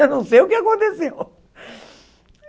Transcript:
Eu não sei o que aconteceu.